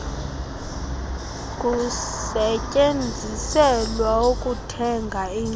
kusetyenziselwa ukuthenga indlu